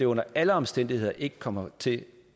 under alle omstændigheder ikke kommer til